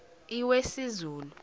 iwesizulu